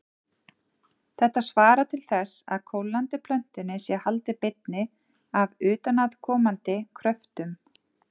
Þetta svarar til þess að kólnandi plötunni sé haldið beinni af utanaðkomandi kröftum.